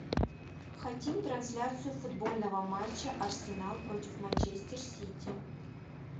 хотим трансляцию футбольного матча арсенал против манчестер сити